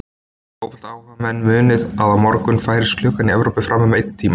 Fótboltaáhugamenn munið að á morgun færist klukkan í Evrópu fram um einn tíma.